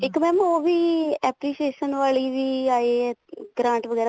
ਇੱਕ mam ਉਹ ਵੀ appreciation ਆਲੀ ਵੀ ਆਈ ਹੈ grant ਵਗੈਰਾ